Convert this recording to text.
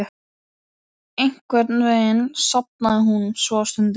Einhvern veginn sofnaði hún svo á stundinni.